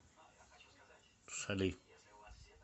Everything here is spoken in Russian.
шали